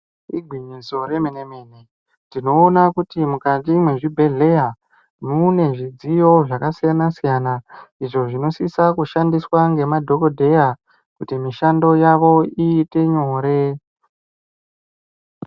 Igwinyiso remene mene tinoona kuti mukati mwezvi bhedhleya mune zvidziyo zvakasiyana siyana izvo zvinosisa kushandiswa ngemadhokodheya kuti mishando yavo iite nyore.